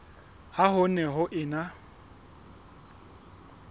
ha ho ne ho ena